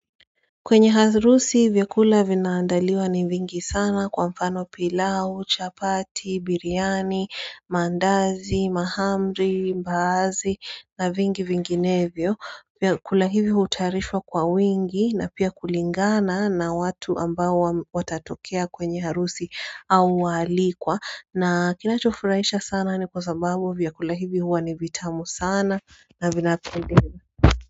Kwenye harusi vyakula vinaandaliwa ni vingi sana kwa mfano pilau, chapati, biryani, mandazi, mahamri, mbaazi na vingi vinginevyo vyakula hivi hutayarishwa kwa wingi na pia kulingana na watu ambao watatokea kwenye harusi au waalikwa na kinachofurahisha sana ni kwa sababu vyakula hivi hua ni vitamu sana na vina.